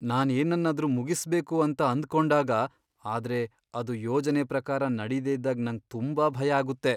ನಾನ್ ಏನನ್ನಾದರೂ ಮುಗಿಸ್ಬೇಕು ಅಂತ ಅಂದುಕೊಂಡಾಗ ಆದ್ರೆ ಅದು ಯೋಜನೆ ಪ್ರಕಾರ ನಡಿದೆ ಇದ್ದಾಗ್ ನಂಗ್ ತುಂಬಾ ಭಯ ಆಗುತ್ತೆ.